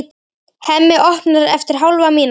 Hemmi opnar eftir hálfa mínútu.